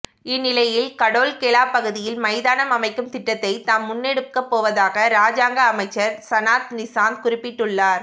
இந்நிலையில் கடொல்கெல பகுதியில் மைதானம் அமைக்கும் திட்டத்தை தாம் முன்னெடுக்கப்போவதாக இராஜாங்க அமைச்சர் சனத் நிசாந்த குறிப்பிட்டுள்ளார்